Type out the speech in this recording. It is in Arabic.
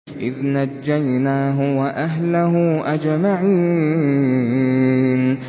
إِذْ نَجَّيْنَاهُ وَأَهْلَهُ أَجْمَعِينَ